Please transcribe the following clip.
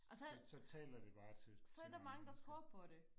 og så så er der mange der tror på det